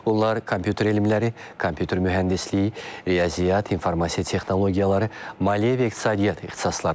Onlar kompüter elmləri, kompüter mühəndisliyi, riyaziyyat, informasiya texnologiyaları, maliyyə və iqtisadiyyat ixtisaslarıdır.